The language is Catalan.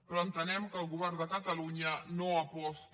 però entenem que el govern de catalunya no aposta